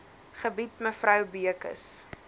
gebied mevrou beukes